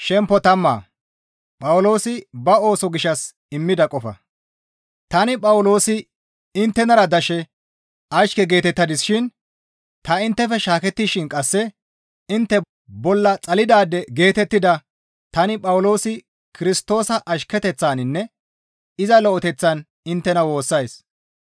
Tani Phawuloosi inttenara dashe ashke geetettadis shin ta inttefe shaakettishin qasse intte bolla xalidaade geetettida tani Phawuloosi Kirstoosa ashketeththaninne iza lo7eteththan inttena woossays.